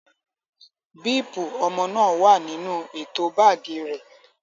Bíípù ọmọ náà wà nínú ètò báágì rẹ̀.